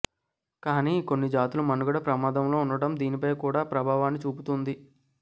కానీ కొన్ని జాతుల మనుగడ ప్రమాదంలో ఉండటం దీనిపై కూడా ప్రభావాన్ని చూపుతోంది